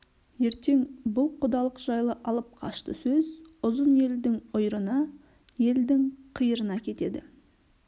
ертең бұл құдалық жайлы алып қашты сөз ұзын елдің ұйырына елдің қиырына кетеді